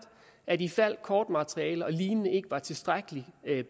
at ifald kortmateriale og lignende ikke var tilstrækkeligt